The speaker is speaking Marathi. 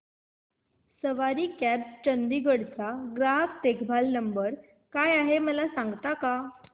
सवारी कॅब्स चंदिगड चा ग्राहक देखभाल नंबर काय आहे मला सांगता का